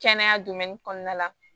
Kɛnɛya kɔnɔna la